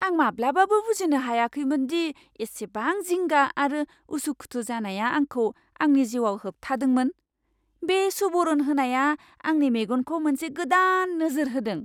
आं माब्लाबाबो बुजिनो हायाखैमोन दि इसेबां जिंगा आरो उसु खुथु जानाया आंखौ आंनि जिउआव होबथादोंमोन। बे सुबुरुन होनाया आंनि मेगनखौ मोनसे गोदान नोजोर होदों!